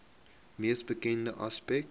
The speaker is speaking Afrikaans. mees bekende aspek